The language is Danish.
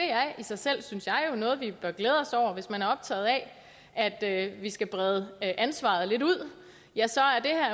er i sig selv synes jeg noget vi bør glæde os over hvis man er optaget af at at vi skal brede ansvaret lidt ud